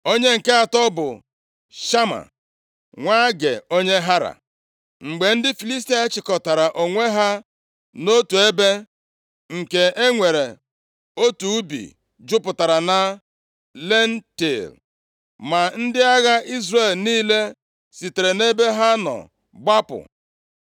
Onye nke atọ bụ Shama, nwa Agee, onye Hara. Mgbe ndị Filistia chịkọtara onwe ha nʼotu ebe, nke e nwere otu ubi jupụtara na lentil, ma ndị agha Izrel niile sitere nʼebe ha nọ gbapụ.